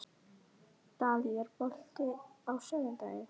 Dalí, er bolti á sunnudaginn?